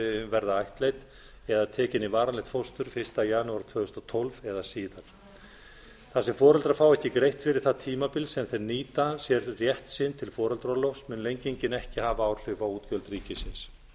verða ættleidd eða tekin í varanlegt fóstur fyrsta janúar tvö þúsund og tólf eða síðar þar sem foreldrar fá ekki greitt fyrri það tímabil sem þeir nýta sér rétt sinn til foreldraorlofs mun lengingin ekki hafa áhrif á útgjöld ríkisins